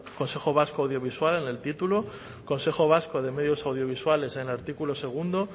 consejo vasco audiovisual en el título consejo vasco de medios audiovisuales en el artículo segundo